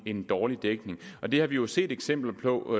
en dårlig dækning og det har vi jo set eksempler på